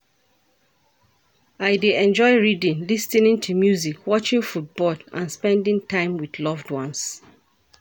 I dey enjoy reading, lis ten ing to music, watching football and spending time with loved ones.